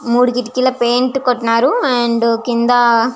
మూడు కిటికీలు పెయింట్ కోట్టినారు. అండ్ కింద --